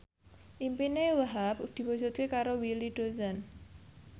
impine Wahhab diwujudke karo Willy Dozan